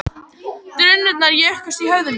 Drunurnar jukust í höfði mér